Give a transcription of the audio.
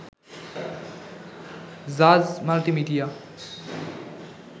Jaaz multimedia